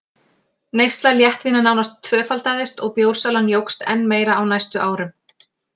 Neysla léttvína nánast tvöfaldaðist og bjórsalan jókst enn meira á næstu árum.